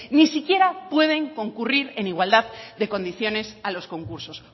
ni siquiera pueden concurrir en igualdad de condiciones a los concursos